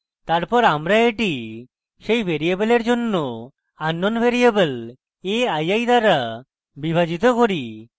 তারপর আমরা এটি সেই ভ্যারিয়েবলের জন্য unknown variable a i i দ্বারা বিভাজিত করি